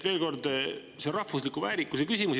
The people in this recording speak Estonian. Veel kord: see on rahvusliku väärikuse küsimus.